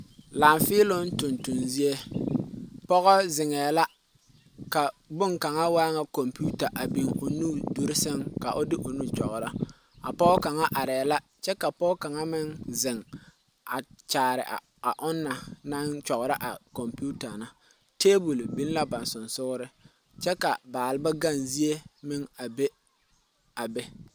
Laafeeloŋ tontonzie pɔge zeŋɛɛ la ka boŋkaŋa waa ŋa kompeta a biŋ o nuduluŋ sɛŋ ka o de o nu kyɔgro a pɔge kaŋa arɛɛ la kyɛ ka pɔge kaŋa meŋ zeŋ a kyaare a ona kyɔgro a kompeta na tɛbol biŋ la ba seŋsogreŋ kyɛ ka baaleba gaŋzie a be a be.